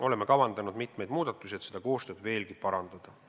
Oleme kavandanud mitmeid muudatusi, et seda koostööd veelgi parandada.